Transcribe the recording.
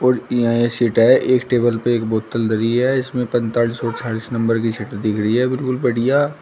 और ईहां ये सीट है एक टेबल पे एक बोतल धरी है इसमें पैंतालीस और छियालिस नंबर की सीट दिख रही है बिल्कुल बढ़िया।